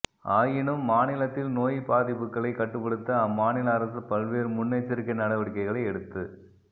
ஆயினும் மாநிலத்தில் நோய் பாதிப்புகளை கட்டுப்படுத்த அம்மாநில அரசு பல்வேறு முன்னெச்சரிக்கை நடவடிக்கைகளை எடுத்து